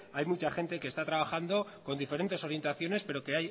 hay mucha gente que está trabajando con diferentes orientaciones pero que